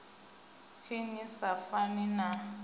khe ni sa pfani na